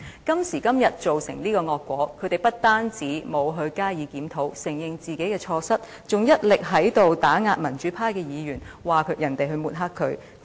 今時今日，造成這個惡果，他們不但沒有加以檢討，承認自己的錯失，還一力打壓民主派議員，說別人抹黑他們。